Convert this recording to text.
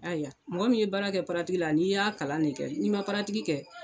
Aya mɔgɔ min ye baara kɛ la n'i y'a kalan ne kɛ n'i paratiki kɛ